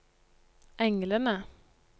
englene